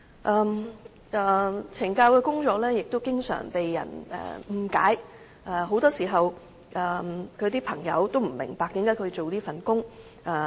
況且，懲教人員又經常被誤解，很多時候，她的朋友也不明白為何她要選擇這份工作。